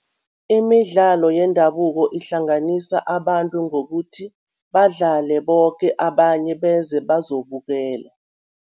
Imidlalo yendabuko ihlanganisa abantu ngokuthi badlale boke, abanye beze bazokubukela.